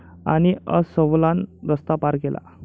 ...आणि अस्वलानं रस्ता पार केला